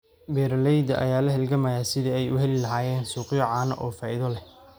Beeralayda ayaa la halgamaya sidii ay u heli lahaayeen suuqyo caano oo faa'iido leh.